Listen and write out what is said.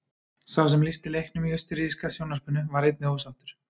Sá sem lýsti leiknum í austurríska sjónvarpinu var einnig ósáttur.